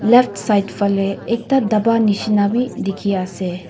left side fale ekta daba nishina bhi dikhi ase.